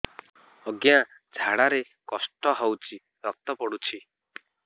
ଅଜ୍ଞା ଝାଡା ରେ କଷ୍ଟ ହଉଚି ରକ୍ତ ପଡୁଛି